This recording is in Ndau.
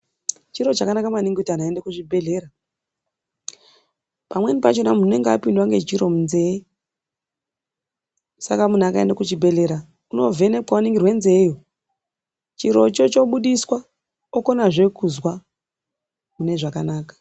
Chiro chakanaka maningi kuti vantu vaende kuzvibhedhlera, pamweni pachona unenge apindwa ngechiro munzee saka muntu akaende kuchibhedhlera unovhenekwa oningirwe nzee iyo chiro choo chobudiswa okona zvee muzwa mune zvakanaka.